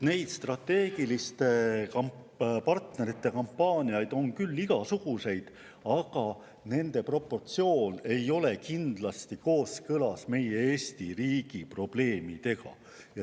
Neid strateegiliste partnerite kampaaniaid on küll igasuguseid, aga nende proportsioon ei ole kindlasti kooskõlas meie Eesti riigi probleemidega.